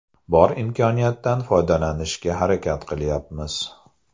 Bor imkoniyatdan foydalanishga harakat qilayapmiz.